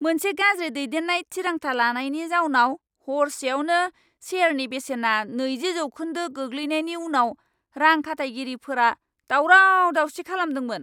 मोनसे गाज्रि दैदेननाय थिरांथा लानायनि जाउनाव हरसेआवनो शेयारनि बेसेना नैजि जौखोन्दो गोग्लैनायनि उनाव रां खाथायगिरिफोरा दावराव दावसि खालामदोंमोन।